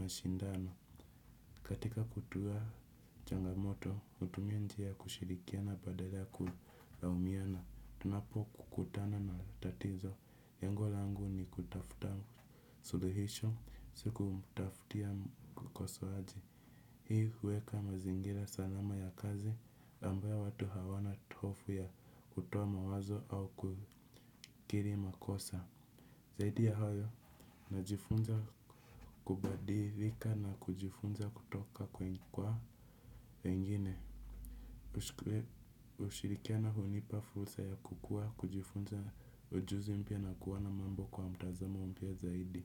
mashindano. Katika kutuwa changamoto, hutumia njia ya kushirikiana badala ya kulaumiana. Tunapokutana na tatizo. Lengo langu ni kutafuta suluhisho, si kumtaftia ukosoaji. Hii huweka mazingira salama ya kazi, ambayo watu hawana hofu ya kutoa mawazo au kukiri makosa. Zaidi ya hayo, najifunza kubadilika na kujifunza kutoka kwa wengine. Kushirikiana hunipa fursa ya kukua, kujifunza ujuzi mpya na kuona mambo kwa mtazamo mpya zaidi.